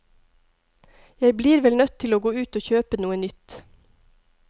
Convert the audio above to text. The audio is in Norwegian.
Jeg blir vel nødt til å gå ut og kjøpe noe nytt.